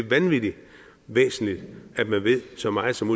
vanvittig væsentligt at man ved så meget som